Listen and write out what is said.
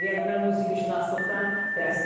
Yəni mən musiqişünaslıqdan dərs deyirəm.